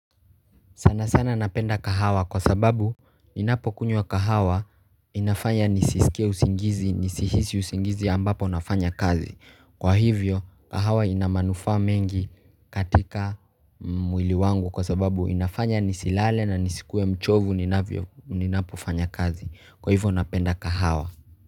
Sana sana napenda kahawa kwa sababu ninapokunywa kahawa inafanya nisisikie usingizi nisihisi usingizi ambapo nafanya kazi Kwa hivyo kahawa ina manufaa mengi katika mwili wangu kwa sababu inafanya nisilale na nisikue mchovu ninapo fanya kazi Kwa hivyo napenda kahawa.